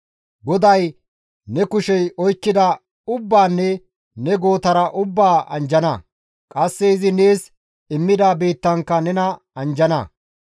GODAY ne kushey oykkida ubbaanne ne gootara ubbaa anjjana; qasse izi nees immida biittankka nena anjjana.